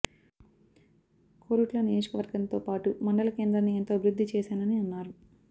కోరుట్ల నియోజకవర్గంతో పా టు మండల కేంద్రాన్ని ఎంతో అభివృద్ధి చేశానని అన్నారు